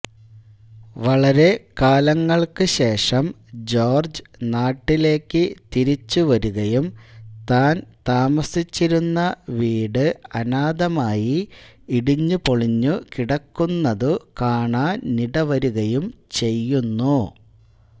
വളരെക്കാലങ്ങൾക്കു ശേഷം ജോർജ്ജ് നാട്ടിലേയ്ക്കു തിരിച്ചുവരുകയും താൻ താമസിച്ചിരുന്ന വീട് അനാഥമായി ഇടിഞ്ഞുപൊളിഞ്ഞുകിടക്കുന്നതു കാണാനിടവരുകയും ചെയ്യുന്നു